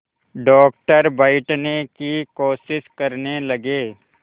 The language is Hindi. डॉक्टर बैठने की कोशिश करने लगे